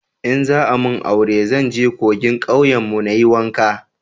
in za a mun aure zan je kogin kauyen mu na yi wanka